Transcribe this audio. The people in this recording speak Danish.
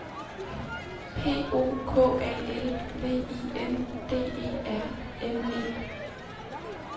P O K A L V I N D E R N E